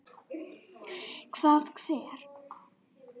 Hvað, hver?